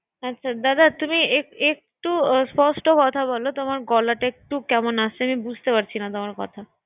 দাদা তুমি এক¬একটু স্পষ্ট কথা বলে তোমার গলাটা একটু কেমন আসছে। আমি বুঝতে পারছিনা তোমার কথা।